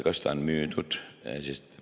Kas see on müüdud?